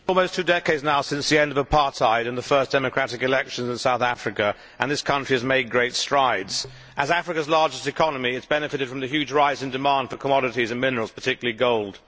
Mr President, it is almost two decades now since the end of apartheid and the first democratic elections in South Africa, and that country has made great strides. As Africa's largest economy, it has benefited from the huge rise in demand for commodities and minerals, particularly gold.